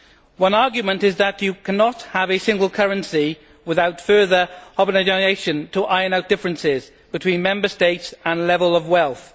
One argument is that you cannot have a single currency without further homogenisation to iron out differences between Member States and levels of wealth.